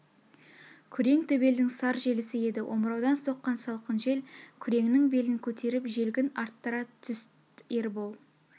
күрең төбелдің сар желісі еді омыраудан соққан салқын жел күреңнің белін көтеріп желгін арттыра түст ербол